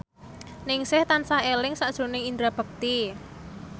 Ningsih tansah eling sakjroning Indra Bekti